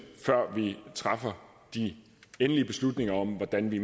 før vi træffer de endelige beslutninger om hvordan vi